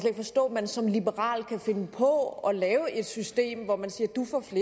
man som liberal kan finde på at lave system hvor man siger